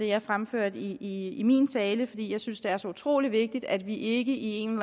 jeg fremførte i i min tale fordi jeg synes det er så utrolig vigtigt at vi ikke i en